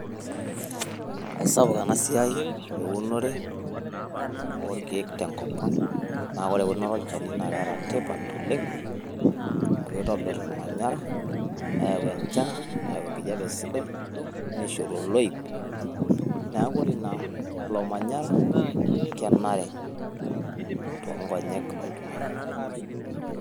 Eisapuk ena siai e unore oo ilkiek tenkop ang. Naa ore eunoto olchani naa keeta tipat oleng amu kitobirr olmanyara neyau enchan, neyau enkijape sidai, nishoru oloip. Niaku ore ina ilo manyara kenare too nkonyek oltung`ani.